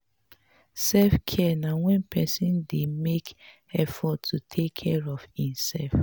self care na when person dey make effort to take care of im self